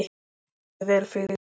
Þú stendur þig vel, Friðgeir!